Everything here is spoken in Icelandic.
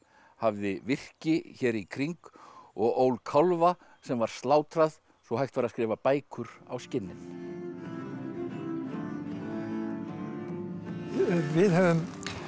hafði virki hér í kring og ól kálfa sem var slátrað svo hægt væri að skrifa bækur á skinnin við höfum